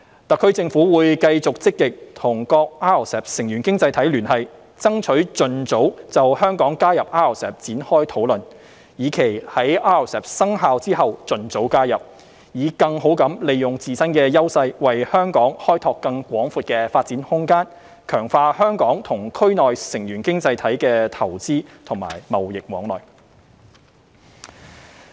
特區政府會繼續積極與各 RCEP 成員經濟體聯繫，爭取盡早就香港加入 RCEP 展開討論，以期在 RCEP 生效後盡早加入，以更好地利用自身的優勢為香港開拓更廣闊的發展空間，強化香港與區內成員經濟體的投資和貿易往來。